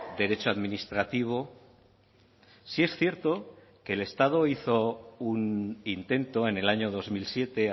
derecho administrativo sí es cierto que el estado hizo un intento en el año dos mil siete